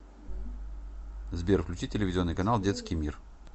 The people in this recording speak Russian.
сбер включи телевизионный канал детский мир